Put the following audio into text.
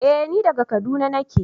Eh ni daga kaduna nake.